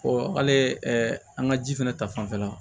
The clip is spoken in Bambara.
hali an ka ji fɛnɛ ta fanfɛla